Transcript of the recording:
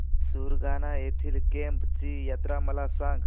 सुरगाणा येथील केम्ब ची यात्रा मला सांग